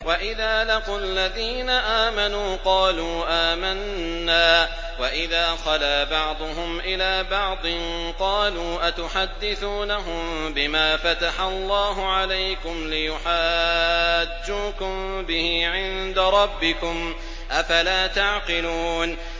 وَإِذَا لَقُوا الَّذِينَ آمَنُوا قَالُوا آمَنَّا وَإِذَا خَلَا بَعْضُهُمْ إِلَىٰ بَعْضٍ قَالُوا أَتُحَدِّثُونَهُم بِمَا فَتَحَ اللَّهُ عَلَيْكُمْ لِيُحَاجُّوكُم بِهِ عِندَ رَبِّكُمْ ۚ أَفَلَا تَعْقِلُونَ